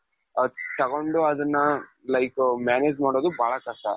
ಹ ತಗೊಂಡು ಅದುನ್ನ like manage ಮಾಡೋದು ಬಹಳ ಕಷ್ಟ